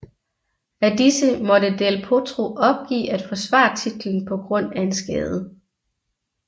Af disse måtte del Potro opgive at forsvare titlen på grund af en skade